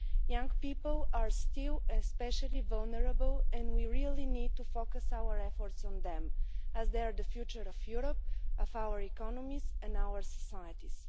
Young people are still especially vulnerable and we really need to focus our efforts on them as they are the future of Europe, of our economies and our societies.